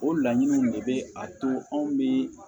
O laɲiniw de bɛ a to anw bɛ